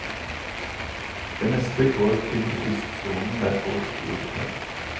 Det meste går til kystsonen der folk bor tett.